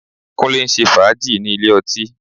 Kúnlé ń ṣe fàájì ní ilé ọtí